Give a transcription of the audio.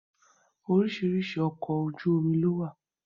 Oríṣiríṣi ọkọ̀ ojú omi lówà.